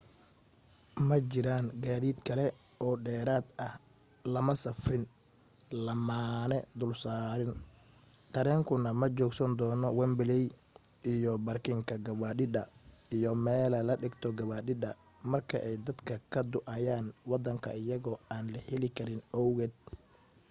ma jiraan gaadiid kale oo dheeraad ah lama safrin lamana dul saarin tareenkuna ma joogsan doono wembley iyo barkinka gawadhida iyo melaha la dhigto gawaadhida marka ay dadka ka duuayaan wadanka iyagoo aan la helin karin owgeed